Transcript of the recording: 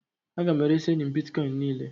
A ga m eresị enyi m Bịtkọin m niile